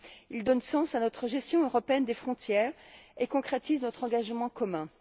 Il donne sens à notre gestion européenne des frontières et concrétise notre engagement commun.